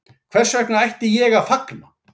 Hvers vegna ætti ég að fagna